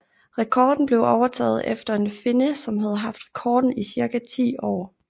Rekorden blev overtaget efter en finne som havde haft rekorden i cirka ti år